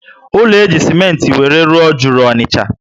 Ụlọ eji simenti were rụọ juru Ọnịcha